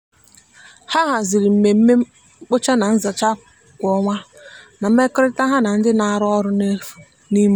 ha haziri mmemme mkpocha na nzacha kwa ọnwa na mmekọrịta ha na ndị na-arụ ọrụ n'efu n'ime obodo.